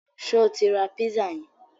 Ṣé o tí rá pízà yẹn?